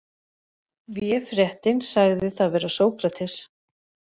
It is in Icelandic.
Véfréttin sagði það vera Sókrates.